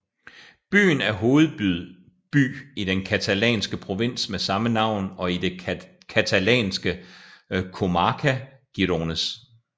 Byen er hovedby i den catalanske provins med samme navn og i det catalanske comarca Gironès